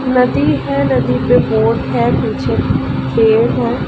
नदी है नदी पे बोट है पीछे पेड़ है।